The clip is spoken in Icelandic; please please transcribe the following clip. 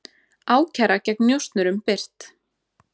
Ákæra gegn njósnurum birt